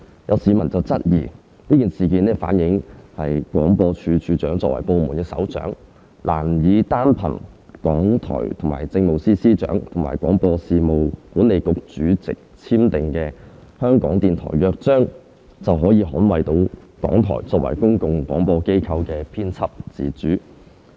有市民質疑，該事件反映廣播處長作為部門首長，難以單憑港台與政務司司長及廣播事務管理局主席簽訂的《香港電台約章》，便可捍衞到港台作為公共廣播機構的編輯自主。